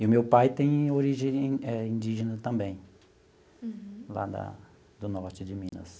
E o meu pai tem origem eh indígena também, lá da do norte de Minas.